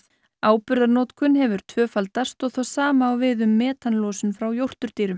áburðarnotkun hefur tvöfaldast og það sama á við um metanlosun frá